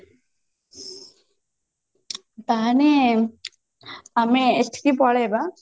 ତାହେଲେ ଆମେ ଏଠିକି ପଳେଇବା